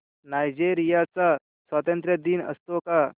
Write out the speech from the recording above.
Nigeria चा स्वातंत्र्य दिन असतो का